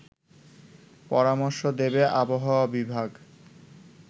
পরামর্শ দেবে আবহাওয়া বিভাগ